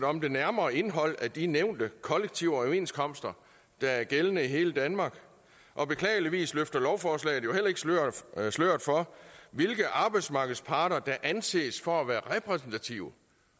om det nærmere indhold af de nævnte kollektive overenskomster der er gældende i hele danmark og beklageligvis løfter lovforslaget jo heller ikke sløret sløret for hvilke af arbejdsmarkedets parter der anses for at være repræsentative